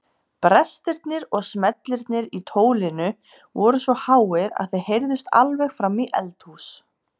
Brestirnir og smellirnir í tólinu voru svo háir að þeir heyrðust alveg fram í eldhús.